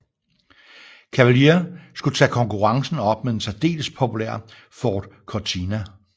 Cavalier skulle tage konkurrencen op mod den særdeles populære Ford Cortina